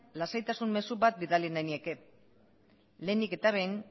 lasaitasun mezu bat bidali nahi nieke lehenik eta behin